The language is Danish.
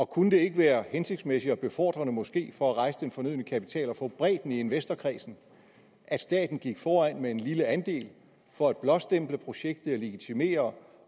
kunne det ikke være hensigtsmæssigt og befordrende måske for at rejse den fornødne kapital og få en bredde i investorkredsen at staten gik foran med en lille andel for at blåstemple projektet legitimere